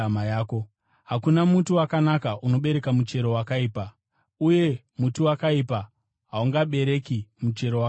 “Hakuna muti wakanaka unobereka muchero wakaipa, uye muti wakaipa haungabereki muchero wakanaka.